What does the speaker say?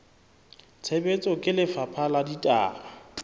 tshebetsong ke lefapha la ditaba